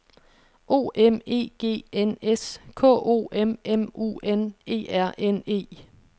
O M E G N S K O M M U N E R N E